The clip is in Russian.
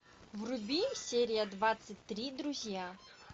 вруби серия двадцать три друзья